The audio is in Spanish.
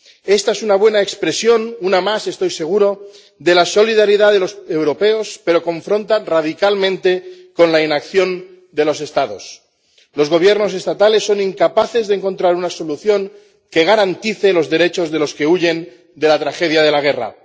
Esta es una buena expresión, una más, estoy seguro, de la solidaridad de los europeos, pero choca radicalmente con la inacción de los Estados. Los gobiernos estatales son incapaces de encontrar una solución que garantice los derechos de los que huyen de la tragedia de la guerra.